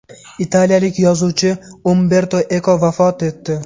Italiyalik yozuvchi Umberto Eko vafot etdi.